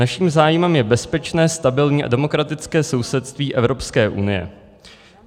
Naším zájmem je bezpečné, stabilní a demokratické sousedství Evropské unie.